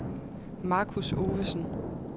Marcus Ovesen